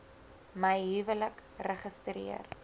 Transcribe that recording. my huwelik registreer